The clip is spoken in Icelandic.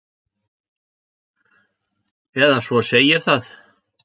Eða svo segir það.